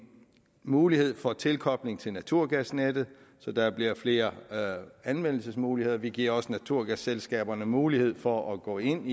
mulighed for tilkobling til naturgasnettet så der bliver flere anvendelsesmuligheder vi giver også naturgasselskaberne mulighed for at gå ind